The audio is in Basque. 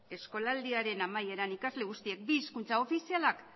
eskolaldiaren amaieran ikasle guztiek bi hizkuntza ofizialak